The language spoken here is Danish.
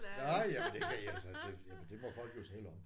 Nej jamen det altså det må folk jo selvom